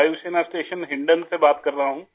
वायुसेना स्टेशन हिंडन से बात कर रहा हूँ